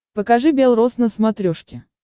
покажи бел рос на смотрешке